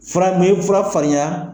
Fura fura farinya